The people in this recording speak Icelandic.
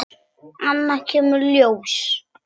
Annað kemur ljós